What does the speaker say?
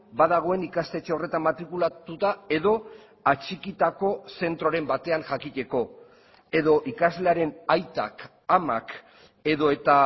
badagoen ikastetxe horretan matrikulatuta edo atxikitako zentroren batean jakiteko edo ikaslearen aitak amak edota